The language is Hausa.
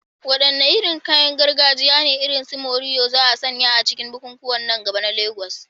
Wadanne irin kayan gargajiya ne, irin su morìwò, za a sanya a cikin bukukuwan nan gaba a Legas?